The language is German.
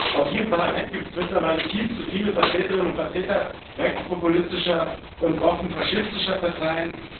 Auch hier im Parlament gibt es mittlerweile viel zu viele Vertreterinnen und Vertreter rechtspopulistischer und offen faschistischer Parteien.